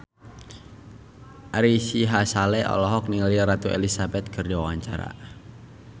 Ari Sihasale olohok ningali Ratu Elizabeth keur diwawancara